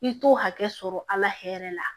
I t'o hakɛ sɔrɔ ala hɛrɛ la